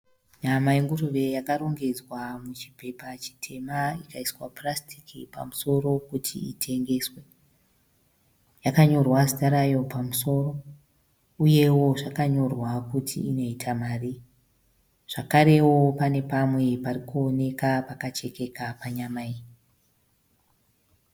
Nyama yenguruve yakarongedzwa muchipepa chitema ikaiswa purasitiki pamusoro kuti itengeswe. Yakanyorwa zita rayo pamusoro uyewo zvakanyorwa kuti inoita marii, zvekarewo pane pamwe parikuoneka pakachekeka panyama iyi.